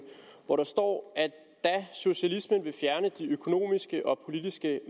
hvor der står at da socialismen vil fjerne de økonomiske og politiske